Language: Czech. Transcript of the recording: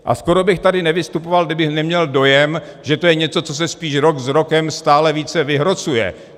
A skoro bych tady nevystupoval, kdybych neměl dojem, že to je něco, co se spíš rok s rokem stále více vyhrocuje.